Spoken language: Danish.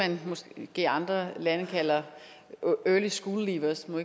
det man måske i andre lande kalder early school leavers nu